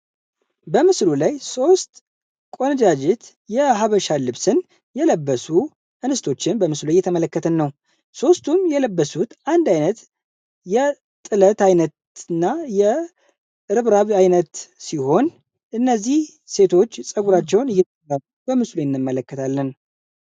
በምስሉ ላይ ሦስት ቆነጃጅት የሀበሻ ልብስን የለበሱ እንስቶችን በምስሉ እየተመለከት ነው። ሦስቱም የለበሱት አንድ ዓይነት የጥለት ዓይነትና የርብራብ አይነት ሲሆን እነዚህ ሴቶች ጸጉራቸውን እየተባቡ በምስሉ የእንመለከታለን።